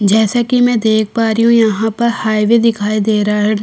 जैसा कि मैं देख पा रही हूं यहां पर हाईवे दिखाई दे रहा है।